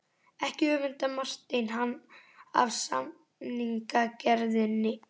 Ekki öfundaði Marteinn hann af samningagerðinni.